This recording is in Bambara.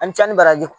Ani ca ni baraji